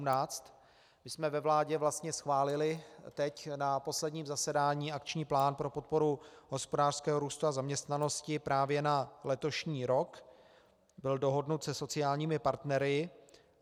My jsme ve vládě vlastně schválili teď na posledním zasedání akční plán pro podporu hospodářského růstu a zaměstnanosti právě na letošní rok, byl dohodnut se sociálními partnery.